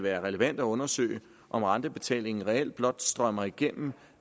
være relevant at undersøge om rentebetalingen reelt blot strømmer igennem